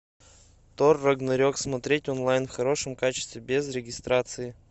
тор рагнарек смотреть онлайн в хорошем качестве без регистрации